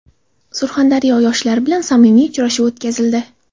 Surxondaryo yoshlarini bilan samimiy uchrashuv o‘tkazildi.